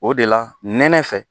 O de la nɛnɛ fɛ